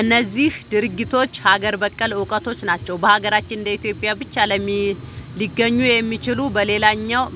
እነዚህ ድርጊቶች ሀገር በቀል እውቀቶች ናቸው። በሀገራችን እንደ ኢትዮጵያ ብቻ ሊገኙ የሚችሉ።